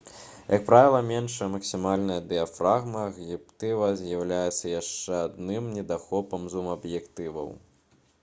як правіла меншая максімальная дыяфрагма хуткасць аб'ектыва з'яўляецца яшчэ адным недахопам зум-аб'ектываў